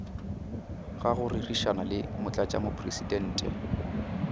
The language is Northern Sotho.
ga go rerišana le motlatšamopresidente